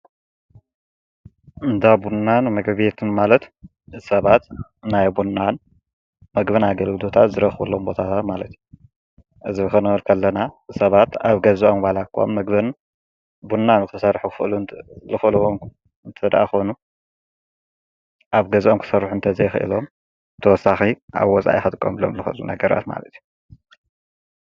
እንዳ ቡናን ምግቤትን ማለት ሰባት ናይ ቡናን ምግቤትን ኣገልግሎታት ዝረኽብሎም ቦታ ማለት እዩ ።እዚ ክንብል ከለና ሰባት ኣብ ገዝኦም ዋላኳ ምግብን ቡና ክሰርሑ ዝክእሉ እንተዳኣ ኮይኖም ኣብ ገዛኦም ኩሠርሑ እንተ ዘይኽዒሎም ተወሳኺ ኣብ ወፃኢ ክጥቆምሎምዝክእሉ ነገራት ማለት ዩ።